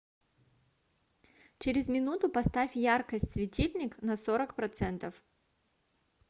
через минуту поставь яркость светильник на сорок процентов